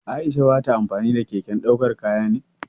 Aisha ba ta amfani da keken daukan kaya ne?